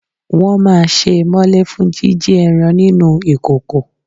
Wọn máa sé e mọ́lé fún jíjí ẹran nínú ìkòkò.